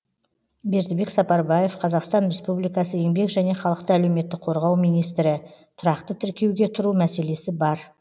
бердібек сапарбаев қазақстан республикасы еңбек және халықты әлеуметтік қорғау министрі тұрақты тіркеуге тұру мәселесі бар